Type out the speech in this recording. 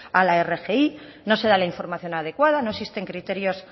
a la rgi no se da la información adecuada no existen criterios